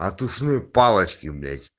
от ушной палочки блять